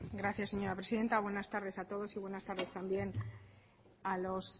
gracias señora presidenta buenas tardes a todos y buenas tardes también a los